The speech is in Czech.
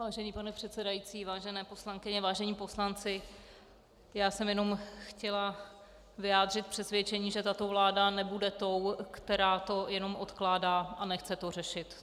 Vážený pane předsedající, vážené poslankyně, vážení poslanci, já jsem jenom chtěla vyjádřit přesvědčení, že tato vláda nebude tou, která to jenom odkládá a nechce to řešit.